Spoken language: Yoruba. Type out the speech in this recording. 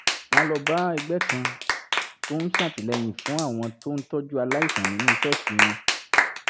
wọ́n lọ bá ẹgbẹ́ kan tó ń ṣàtìlẹ́yìn fún àwọn tó ń tọ́jú aláìsàn nínú ṣọ́ọ̀ṣì wọn